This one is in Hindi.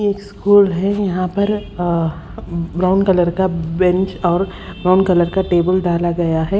ये स्कूल है यहां पर अ ब्राउन कलर का बैंच और ब्राउन कलर का टेबल डाला गया है।